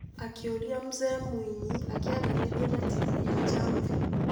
Akĩũria Mzee Mwinyi akĩaranĩria na TV ya Jamvi.